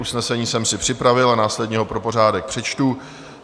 Usnesení jsem si připravil a následně ho pro pořádek přečtu.